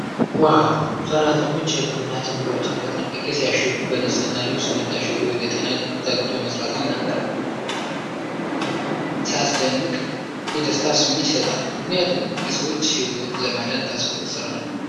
ዋው! ሠራተኞች የሕክምና ጭምብሎችን በጥንቃቄ ሲያሽጉ ነው። በንጽሕና ልብስ መታሸጉ ለጤና ተግቶ መስራትን ይናገራል። ሲያስደንቅ! የደስታ ስሜት ይሰጣል፤ ምክንያቱም የሰዎችን ሕይወት ለማዳን ታስቦ የተሠራ ነው።